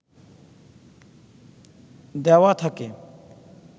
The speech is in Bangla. দেওয়া থাকে